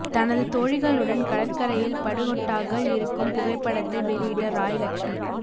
தனது தோழிகளுடன் கடற்கரையில் படு ஹொட்டாக இருக்கும் புகைப்படத்தை வெளியிட்ட ராய் லக்ஷ்மி